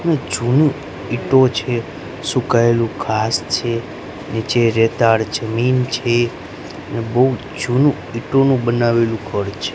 જૂની ઈટો છે સુકાયેલું ઘાસ છે નીચે રેતાળ જમીન છે અને બહુ જૂનું ઈટોનું બનાવેલું ઘર છે.